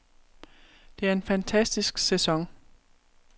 Det er en fantastisk sæson.